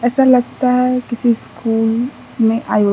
ऐसा लगता है किसी स्कूल में आयो --